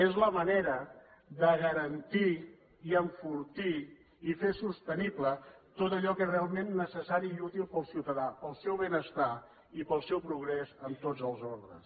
és la manera de garantir i enfortir i fer sostenible tot allò que és realment necessari i útil per al ciutadà per al seu benestar i per al seu progrés en tots els ordres